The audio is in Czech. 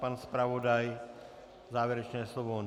Pan zpravodaj závěrečné slovo?